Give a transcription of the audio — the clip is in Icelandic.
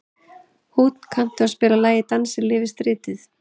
Húnn, kanntu að spila lagið „Dansinn lifir stritið“?